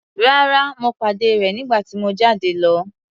Rárá, mo pàdé rẹ̀ nígbà tí mo jáde lọ.